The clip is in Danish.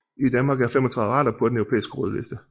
I Danmark er 35 arter på den europæiske rødliste